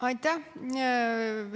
Aitäh!